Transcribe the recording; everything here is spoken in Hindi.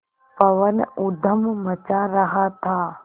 पवन ऊधम मचा रहा था